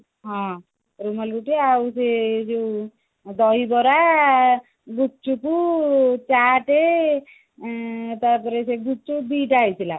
ହଁ ରୁମାଲି ରୋଟି ଆଉ ସେ ଯୋଉ ଦହିବରା ଗୁପ୍ଚୁପ ଚାଟ ଉଁ ତାପରେ ସେ ଗୁପ୍ଚୁପ ଦିଟା ହେଇଥିଲା